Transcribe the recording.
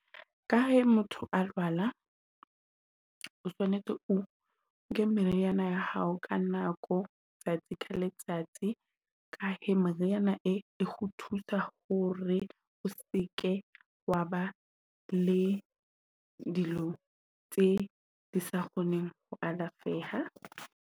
Ka he motho a lwala, o tshwanetse o nke meriana ya hao ka nako letsatsi ka letsatsi ka he meriana e e le ho thusa hore o seke wa ba le dilo tse di sa kgoneng ho alafeha.